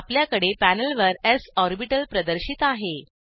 आपल्याकडे पॅनेलवर स् ऑर्बिटल प्रदर्शित आहे